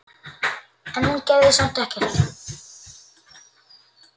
En hún gerði samt ekkert.